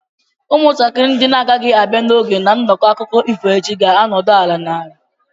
Ụmụntakịrị ndị na-agaghị abịa n'oge na nnọkọ akụkọ ifo echi ga-anọdụ ala n'ala.